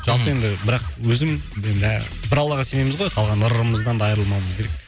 жалпы енді бірақ өзім енді бір аллаға сенеміз гой қалған ырымымыздан да айырылмауымыз керек